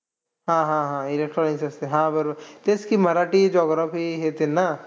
हां हां हां electronics असते. हां बरोबर. तेच की मराठी geography येतील ना.